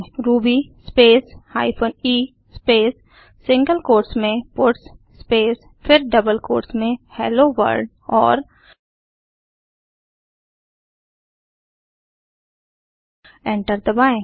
Ruby space hyphen e space single quotes में puts space फिर double quotes में hello world और enter दबाएँ